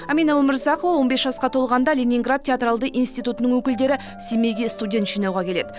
әмина өмірзақова он бес жасқа толғанда ленинград театралды институтының өкілдері семейге студент жинауға келеді